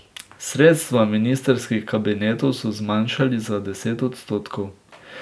Sredstva ministrskih kabinetov so zmanjšali za deset odstotkov.